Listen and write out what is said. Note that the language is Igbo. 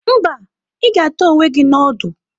Mba, ị ga-ata onwe gị na ọdụ.